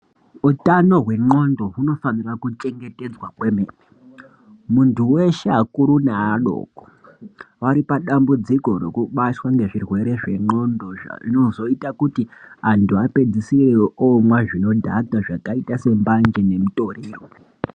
Utano wendxondo hunofanira kuchengetedzwa kwemene muntu weshe akuru neadoko varipadambudziko rekubatwa ngezvirwere zvendxondo zvinozoita kuti antu apedzisire omwa zvinodhaka zvakaita sembanje nemutoriro.